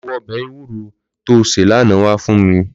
Lò bú òbè éwùró tó sé làná wá fún mí